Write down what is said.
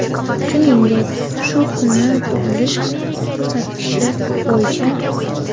Shuningdek, shu kuni tug‘ilish ko‘rsatkichi bo‘yicha:.